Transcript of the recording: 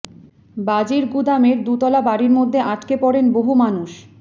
বাজির গুদামের দুতলা বাড়ির মধ্যে আটকে পড়েন বহু মানুষ